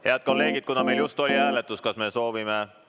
Head kolleegid, kuna meil just oli hääletus, kas me soovime ...